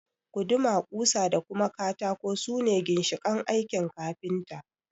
Guduma, ƙusa da katako su ne ginshiƙan aikin kafinta